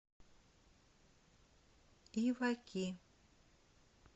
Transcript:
иваки